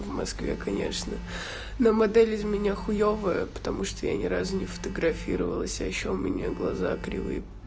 в москве конечно но модель из меня хуёвая потому что я ни разу не фотографировалась а ещё у меня глаза кривые